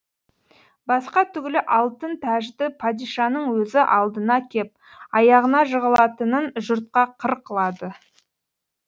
басқа түгілі алтын тәжді падишаның өзі алдына кеп аяғына жығылатынын жұртқа қыр қылады